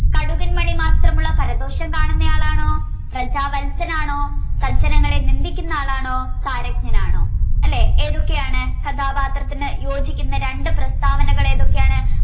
കടുകിൻ മണി മാത്രമുള്ള പരദോഷം കാണുന്നയാളാണോ പ്രജാവത്സനാണോ സജ്ജനങ്ങളെ നിന്ദിക്കുന്നയാളാണോ പാരജ്ഞനാണോ അല്ലേ ഏതൊക്കെയാണ് കഥാപാത്രത്തിന് യോജിക്കുന്ന രണ്ട് പ്രസ്താവനകളേതൊക്കെയാണ്